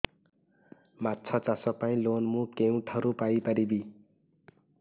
ମାଛ ଚାଷ ପାଇଁ ଲୋନ୍ ମୁଁ କେଉଁଠାରୁ ପାଇପାରିବି